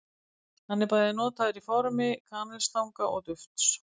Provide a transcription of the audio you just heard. Hann er bæði notaður í formi kanilstanga og dufts.